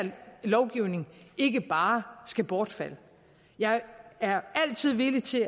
lovgivning ikke bare skal bortfalde jeg er altid villig til